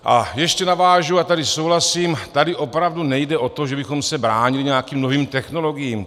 A ještě navážu, a tady souhlasím - tady opravdu nejde o to, že bychom se bránili nějakým novým technologiím.